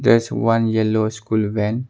that one yellow school van.